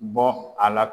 Bɔ a la